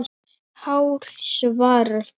Hár svarar þá